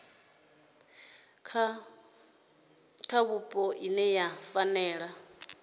kha vhupo ine ya fanela